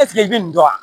Eseke i bɛ nin dɔn